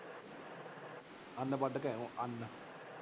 ਅੰਨ ਵੱਢ ਕੇ ਆਏ ਅੰਨ